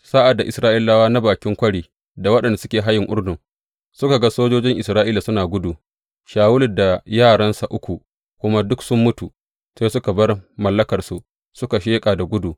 Sa’ad da Isra’ilawa na bakin kwari da waɗanda suke hayin Urdun suka ga sojojin Isra’ila suna gudu, Shawulu da yaransa uku kuma duk sun mutu, sai suka bar mallakansu suka sheƙa da gudu.